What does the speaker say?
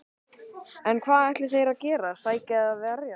En hvað ætla þeir að gera, sækja eða verjast?